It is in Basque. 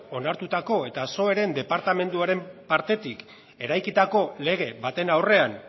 onartutako eta psoeren departamentuaren partetik eraikitako lege baten aurrean